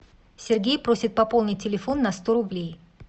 сергей просит пополнить телефон на сто рублей